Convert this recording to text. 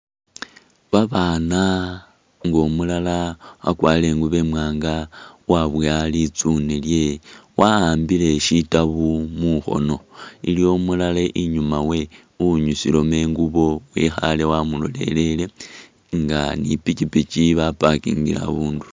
Babana nga umulala wakwarile ingubo imwanga uwabowa litsune lye wa'ambile sitabu mukhono, iliwo umulala inyuma we uwinyusilamo ingubo wekhale wamulolelele nga ni pikipiki ba' parkingile abundulo